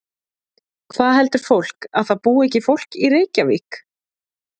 Hvað heldur fólk að það búi ekki fólk í Reykjavík?